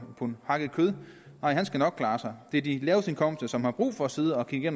pund hakket kød nej han skal nok klare sig det de laveste indkomster som har brug for at sidde og kigge